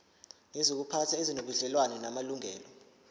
nezokuziphatha ezinobudlelwano namalungelo